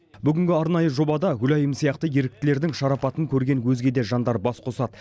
бүгінгі арнайы жобада гүлайым сияқты еріктілердің шарапатын көрген өзге де жандар бас қосады